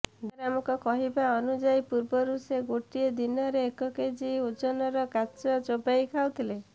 ଦୟାରାମଙ୍କ କହିବା ଅନୁଯାୟୀ ପୂର୍ବରୁ ସେ ଗୋଟିଏ ଦିନରେ ଏକ କେଜି ଓଜନର କାଚ ଚୋବାଇ ଖାଉଥିଲେ